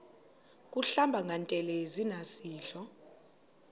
kuhlamba ngantelezi nasidlo